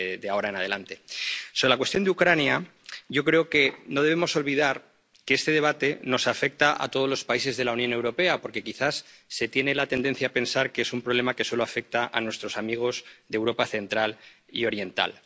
Sobre la cuestión de Ucrania, yo creo que no debemos olvidar que este debate nos afecta a todos los países de la Unión Europea, porque quizás se tiene la tendencia a pensar que es un problema que solo afecta a nuestros amigos de la Europa Central y Oriental.